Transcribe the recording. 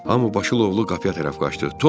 Hamı başılovlu qapıya tərəf qaçdı.